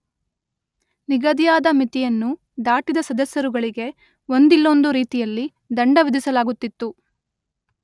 ನಿಗದಿಯಾದ ಮಿತಿಯನ್ನು ದಾಟಿದ ಸದಸ್ಯರುಗಳಿಗೆ ಒಂದಿಲ್ಲೊಂದು ರೀತಿಯಲ್ಲಿ ದಂಡ ವಿಧಿಸಲಾಗುತ್ತಿತ್ತು.